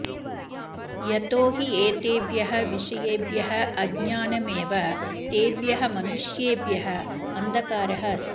यतो हि एतेभ्यः विषयेभ्यः अज्ञानमेव तेभ्यः मनुष्येभ्यः अन्धकारः अस्ति